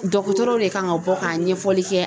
Dɔgɔtɔrɔw de kan ka bɔ ka ɲɛfɔli kɛ.